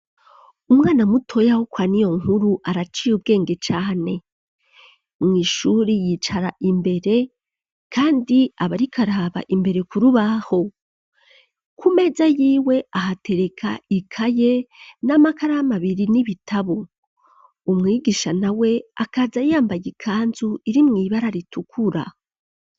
Umwana mutoya, wo kwa Niyonkuru, araciye ubwenge cane; mw'ishuri yicara imbere, kandi aba ariko araba imbere, ku rubaho; ku meza yiwe, ahatereka ikaye, n'amakaramu abiri, n'ibitabo; umwigisha nawe, akaza yambaye, ikanzu iri mw'ibara ritukura.